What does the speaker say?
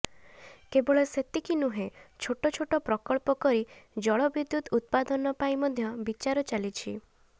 କେବଳ ସେତିକି ନୁହେଁ ଛୋଟ ଛୋଟ ପ୍ରକଳ୍ପ କରି ଜଳବିଦ୍ୟୁତ ଉତ୍ପାଦନ ପାଇଁ ମଧ୍ୟ ବିଚାର ଚାଲିଛି